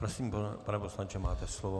Prosím, pane poslanče, máte slovo.